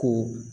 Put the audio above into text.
Ko